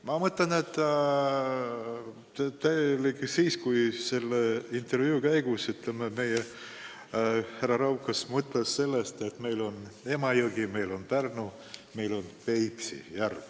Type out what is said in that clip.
Ma mõtlen, et seda intervjuud andes härra Raukas mõtles seda, et meil on Emajõgi, meil on Pärnu jõgi, meil on Peipsi järv.